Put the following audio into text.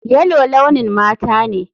Yellow launin mata ne.